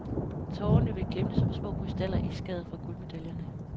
Tårerne vil glimte som små krystaller i skæret fra guldmedaljerne.